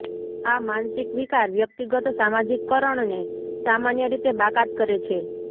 આ માનસિક વિકાર વ્યક્તિગત સમાજીકરણને સામાન્ય રીતે બાકાત કરે છે